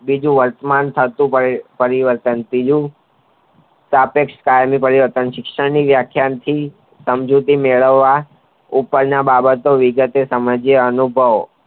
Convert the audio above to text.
બીજું વર્તમાન સાથે થતું પરિવર્તન સ્થાપેક્સ શિક્ષણ ની કોઈ વ્યાખ્યા નથી સમજૂતી મેળવવા ઉપર ની બાબતો વિગત વાર સમજીયે અનુભવ